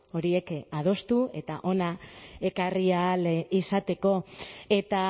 horiek adostu eta hona ekarri ahal izateko eta